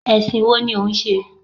Ẹ̀sìn wo ni ò ń ṣe?